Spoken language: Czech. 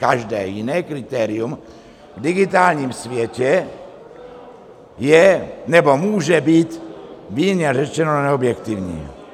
Každé jiné kritérium v digitálním světě je nebo může být mírně řečeno neobjektivní.